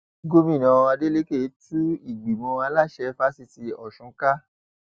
gomina adélèkẹ tú ìgbìmọ aláṣẹ fásitì ọsùn ká